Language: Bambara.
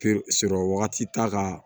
sɔrɔ wagati t'a ka